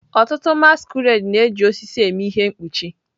Ọtụtụ masquerade na-eji osisi eme ihe mkpuchi.